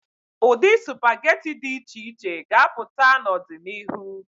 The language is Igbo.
Ụdị sụpageti dị iche iche ga-apụta n'ọdịnihu.